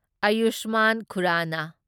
Ayushman Khurrana